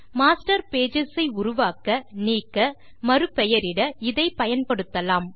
master pages ஐ உருவாக்க நீக்க மறு பெயரிட இதை பயன்படுத்தலாம்